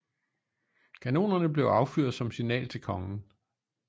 Kanonerne blev affyret som signal til kongen